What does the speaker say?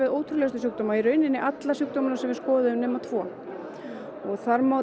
ótrúlegustu sjúkdóma í rauninni alla sjúkdómana sem við skoðuðum nema tvo þar má